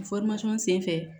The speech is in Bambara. sen fɛ